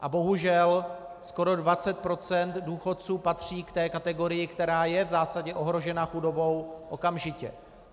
A bohužel, skoro 20 % důchodců patří k té kategorii, která je v zásadě ohrožena chudobou okamžitě.